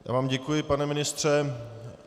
Já vám děkuji, pane ministře.